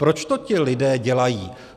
Proč to ti lidé dělají?